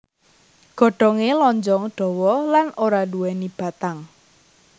Godhongé lonjong dawa lan ora nduwèni batang